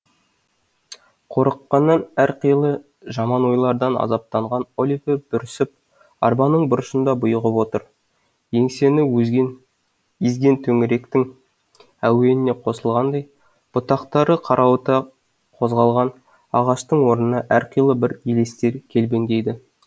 қорыққаннан әрқилы жаман ойлардан азаптанған оливер бүрісіп арбаның бұрышында бұйығып отыр еңсені езген төңіректің әуеніне қосылғандай бұтақтары қарауыта қозғалған ағаштардың орнына әрқилы бір елестер көлбеңдейді